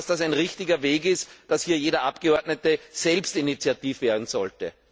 Glauben Sie, dass das ein richtiger Weg ist, dass hier jeder Abgeordnete selbst initiativ werden sollte?